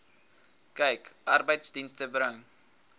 kyk arbeidsdienste bring